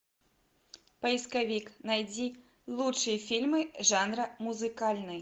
поисковик найди лучшие фильмы жанра музыкальный